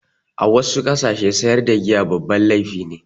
A wassu ƙasashe sayar da giya babban laifi ne